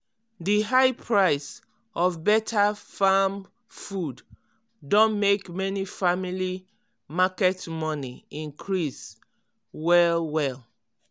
di high price of better-farm food don make many family market money increase well-well.